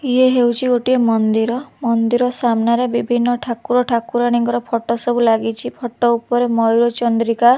ଇଏ ହେଉଛି ଗୋଟେ ମନ୍ଦିର ମନ୍ଦିର ସାମ୍ନାରେ ବିଭିନ୍ନ ଠାକୁର ଠାକୁରାଣୀଙ୍କର ଫୋଟୋ ସବୁ ଲାଗିଛି ଫୋଟୋ ଉପରେ ମୟୂରଚନ୍ଦ୍ରିକା --